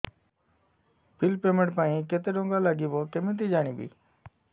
bill payment ପାଇଁ କେତେ କେତେ ଟଙ୍କା ଲାଗିବ କେମିତି ଜାଣିବି